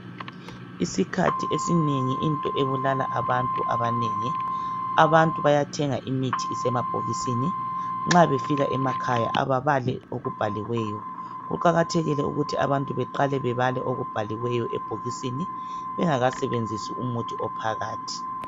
isikhathi esinengi into ebulala abantu abanengi abantu bayathenga imithi isemabhokisini nxa befika emakhaya ababali okubhaliweyo kuqakathekile ukuthi abantu beqale bebale okubhaliweyo ebhokisini bengakasbenzisi umuthi ophakathi